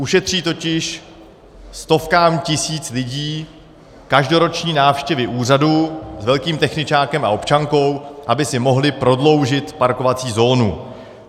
Ušetří totiž stovkám tisíc lidí každoroční návštěvy úřadů s velkým techničákem a občankou, aby si mohli prodloužit parkovací zónu.